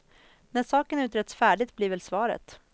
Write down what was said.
När saken utretts färdigt, blir väl svaret.